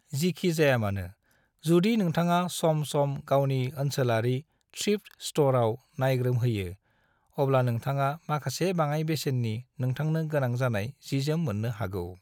जिखिजायामानो, जुदि नोंथाङा सम-सम गावनि ओनसोलारि थ्रिफ्ट स्टराव नाय्ग्रोम होयो, अब्ला नोंथाङा माखासे बाङाय बेसेन्नि नोंथांनो गोनां जानाय जिजोम मोन्नो हागौ।